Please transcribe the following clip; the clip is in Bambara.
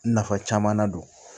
Nafa caman na don